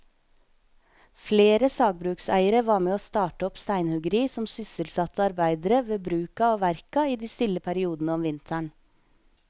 Flere sagbrukseiere var med å starte opp steinhuggeri som sysselsatte arbeidere ved bruka og verka i de stille periodene om vinteren.